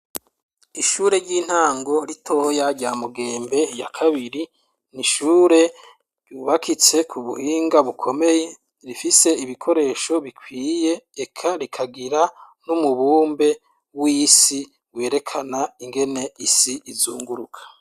Ishure ry'intango ritoya rya Mugembe ya kabiri, ni ishure yubakitse ku buhinga bukomeye rifise ibikoresho bikwiye eka rikagira n'umubumbe w'isi werekana ingene isi izunguruka.